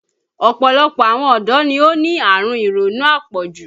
Ọ̀pọ̀lọpọ̀ àwọn ọ̀dọ́ ni ó ní àrùn ironú apọ̀jù